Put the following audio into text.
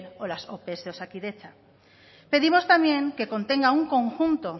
o las ope de osakidetza pedimos también que contenga un conjunto